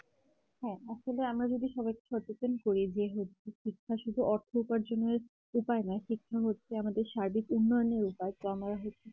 হ্যাঁ আসলে আমরা যদি সবাইকে সচেতন করে দিয়ে হচ্ছে শিক্ষা শুধু পার্থক্য জানার উপায় নয় শিক্ষা হচ্ছে আমাদের সার্বিক উন্নয়নের উপায় তো আমরা হচ্ছে